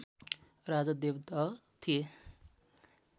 राजा देवदह थिए